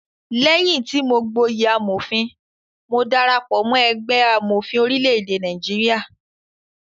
Léyìn tí mọ gboyè amòfin, mo darapọ̀ mọ́ ẹgbẹ́ amọ̀fin orílẹ̀-èdè Nigeria.